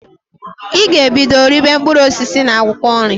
I g'ebido ribe mpkụrụ osisi na akwụkọ nri!